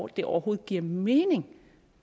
det overhovedet giver mening